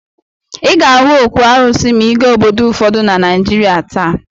Ị ga-ahụ òkwù arụsị maa ị gaa obodo ụfọdụ na Naịjịrịa taa.